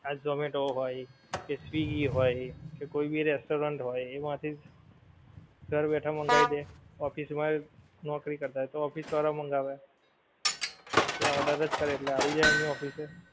આ zomato હોય કે swiggy હોય કે કોઈ ભી restaurant હોય એમાંથી જ ઘર બેઠા માંગવી દે office મા નોકરી કરતા હોય તો office વાળા મંગાવે ત્યાં order જ કરે એટલે આવી જાય એમની office એ